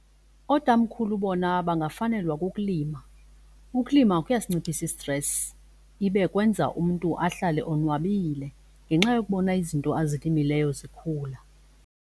Ootamkhulu bona bangafanelwa kukulima. Ukulima kuyasinciphisa i-stress ibe kwenza umntu ahlale onwabile ngenxa yokubona izinto azilimileyo zikhula.